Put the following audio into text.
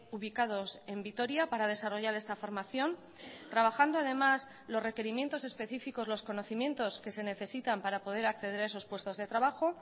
ubicados en vitoria para desarrollar esta formación trabajando además los requerimientos específicos los conocimientos que se necesitan para poder acceder a esos puestos de trabajo